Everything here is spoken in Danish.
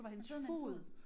Hun sidder med en fugl